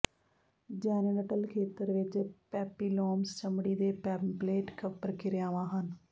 genital ਖੇਤਰ ਵਿਚ papillomas ਚਮੜੀ ਦੇ ਪੈਪਲੇਟ ਪ੍ਰਕਿਰਿਆਵਾਂ ਹਨ